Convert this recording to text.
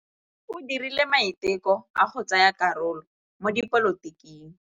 O dirile maitekô a go tsaya karolo mo dipolotiking.